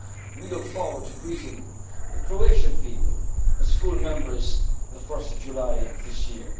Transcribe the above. enlargement policy. We look forward to greeting the Croatian people as full members on